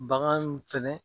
Bagan fɛnɛ